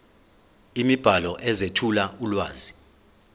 imibhalo ezethula ulwazi